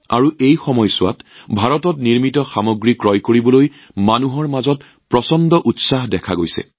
আৰু এই সময়ছোৱাত মেড ইন ইণ্ডিয়াত সামগ্ৰী ক্ৰয় কৰাৰ ক্ষেত্ৰত ৰাইজৰ মাজত ব্যাপক উৎসাহ পৰিলক্ষিত হৈছে